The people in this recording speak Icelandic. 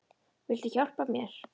Viltu hjálpa mér?